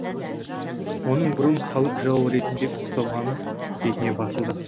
оның бұрын халық жауы ретінде ұсталғаны бетіне басылды